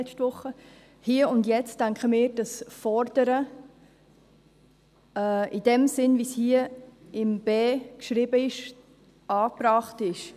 Hier und jetzt denken wir, dass fordern, im Sinn, wie es unter Buchstabe b geschrieben ist, angebracht ist.